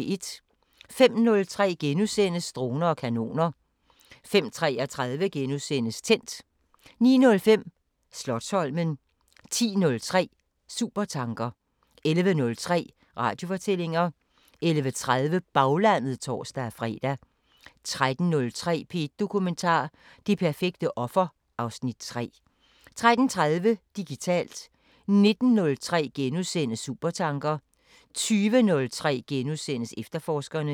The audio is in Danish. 05:03: Droner og kanoner * 05:33: Tændt * 09:05: Slotsholmen 10:03: Supertanker 11:03: Radiofortællinger 11:30: Baglandet (tor-fre) 13:03: P1 Dokumentar: Det perfekte offer (Afs. 3) 13:30: Digitalt 19:03: Supertanker * 20:03: Efterforskerne *